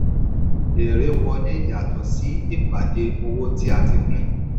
èrè wọlé yàtọ̀ sí ìpàdé owó tí a tí a pín.